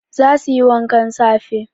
Za su yi wankan safe